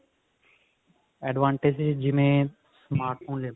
advantages ਜਿਵੇਂ smart phone ਲੇਲੋ